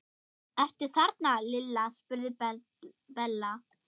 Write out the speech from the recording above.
Ertu þarna Lilla? spurði Bella.